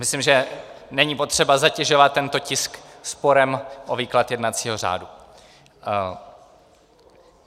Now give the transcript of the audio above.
Myslím, že není potřeba zatěžovat tento tisk sporem o výklad jednacího řádu.